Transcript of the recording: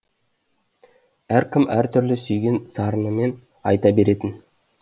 әркім әртүрлі сүйген сарынымен айта беретін